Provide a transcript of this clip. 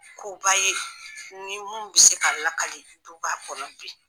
Koba ye ni mun bɛ se ka lakali duba kɔnɔ bi.